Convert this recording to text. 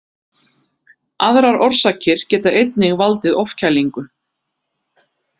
Aðrar orsakir geta einnig valdið ofkælingu.